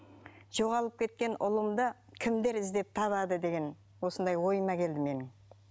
жоғалып кеткен ұлымды кімдер іздеп табады деген осындай ойыма келді менің